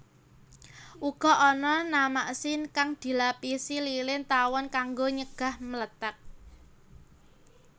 Uga ana namaksin kang dilapisi lilin tawon kanggo nyegah mlethèk